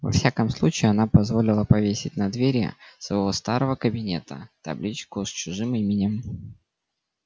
во всяком случае она позволила повесить на двери своего старого кабинета табличку с чужим именем